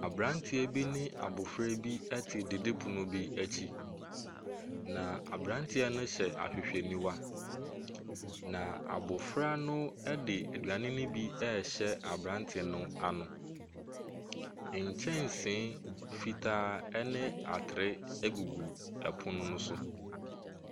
Abranteɛ ne abofra te didipono bi akyi. Na abranteɛ no hyɛ ahwehwɛniwa. Na abofra no ɛde aduane no bi rehyɛ abranteɛ no ano. Nkyɛnsee fitaa ne atere egugu pono no so.